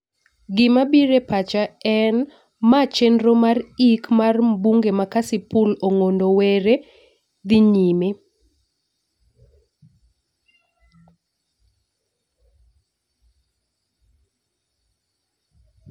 Gima bire pacha en ma chenro mar ik mar mbunge ma kasipul Ong'ondo Were dhi nyime